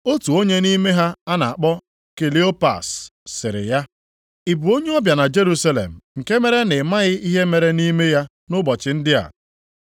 Otu onye nʼime ha a na-akpọ Kleopas, sịrị ya, “Ị bụ onye ọbịa na Jerusalem nke mere na ị maghị ihe mere nʼime ya nʼụbọchị ndị a?”